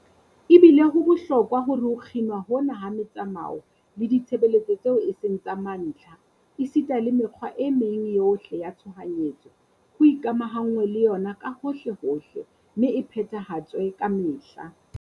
Ebile ho bohlokwa hore ho kginwa hona ha metsamao le ditshebeletso tseo e seng tsa mantlha esita le mekgwa e meng yohle ya tshohanyetso, ho ikamahanngwe le yona kahohlehohle mme e phethahatswe kamehla.